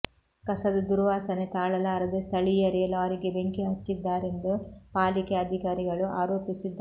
ಕಸದ ದುರ್ವಾಸನೆ ತಾಳಲಾರದೆ ಸ್ಥಳೀಯರೇ ಲಾರಿಗೆ ಬೆಂಕಿ ಹಚ್ಚಿದ್ದಾರೆಂದು ಪಾಲಿಕೆ ಅಧಿಕಾರಿಗಳು ಆರೋಪಿಸಿದ್ದಾರೆ